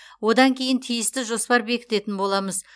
одан кейін тиісті жоспар бекітетін боламыз